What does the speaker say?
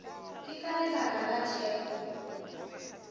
ke ka lebaka la thekgo